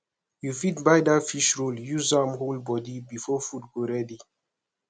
you fit buy dat fish roll use am hold bodi before food go ready